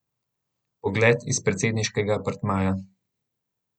Pogled iz predsedniškega apartmaja.